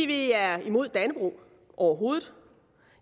vi er imod dannebrog overhovedet